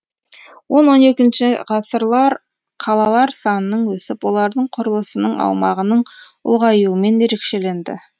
он он екінші ғасырлар қалалар санының өсіп олардың құрылысының аумағының ұлғаюымен ерекшеленді